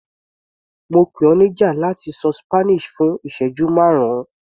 Mo pè ọ níjà láti ṣọ Spanish fún ìsẹ́jú márùn-ún.